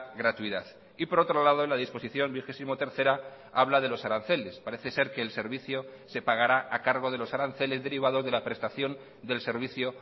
gratuidad y por otro lado la disposición vigesimotercera habla de los aranceles parece ser que el servicio se pagará a cargo de los aranceles derivados de la prestación del servicio